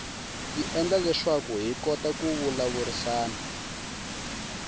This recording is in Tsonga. yi endla leswaku hi kota ku vulavurisana